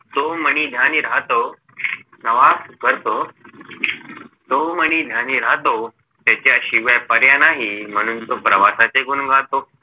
तो मणी ध्यानी राहतो प्रवास करतो तो मणी ध्यानी राहतो त्याच्याशिवाय पर्याय नाही म्हणून तो प्रवासाचे गुण गातो